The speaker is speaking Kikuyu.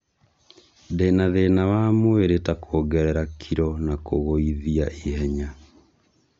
Ndĩna thĩna wa mwĩrĩ ta kuongerera kilo na kũgũĩthia ihenya